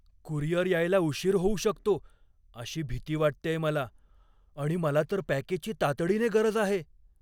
Courier यायला उशीर होऊ शकतो अशी भीती वाटतेय मला आणि मला तर पॅकेजची तातडीने गरज आहे.